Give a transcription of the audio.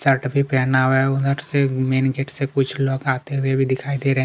Shirt भी पेहना हुआ है उ नट से मेन गेट से कुछ लोग आते हुए भी दिखाई दे रहे है।